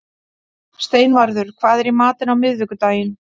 Steinvarður, hvað er í matinn á miðvikudaginn?